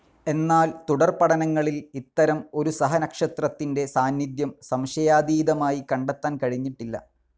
എന്നാൽ തുടർപഠനങ്ങളിൽ ഇത്തരം ഒരു സഹനക്ഷത്രത്തിന്റെ സാന്നിധ്യം സംശയാതീതമായി കണ്ടെത്താൻ കഴിഞ്ഞിട്ടില്ല.